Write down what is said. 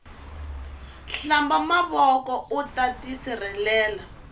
hlamba mavoko uta tisirhelela